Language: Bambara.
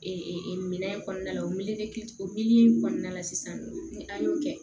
minɛn in kɔnɔna la o o kɔnɔna la sisan ni an y'o kɛ